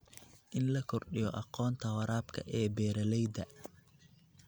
In la kordhiyo aqoonta waraabka ee beeralayda.